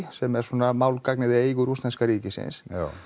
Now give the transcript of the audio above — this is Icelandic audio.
sem er svona málgagnið í eigu rússneska ríkisins